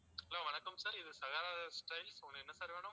hello வணக்கம் sir இது உங்களுக்கு என்ன sir வேணும்.